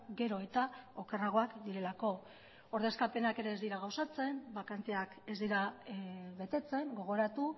gero eta okerragoak direlako ordezkapenak ere ez dira gauzatzen bakanteak ez dira betetzen gogoratu